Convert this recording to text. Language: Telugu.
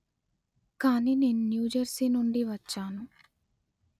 కానీ నేను న్యూ జెర్సీ నుండి వచ్చాను